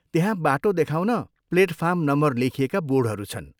त्यहाँ बाटो देखाउन प्लेटफार्म नम्बर लेखिएका बोर्डहरू छन्।